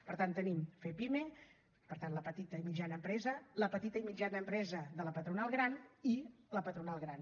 per tant tenim fepime per tant la petita i mitjana empresa la petita i mitjana empresa de la patronal gran i la patronal gran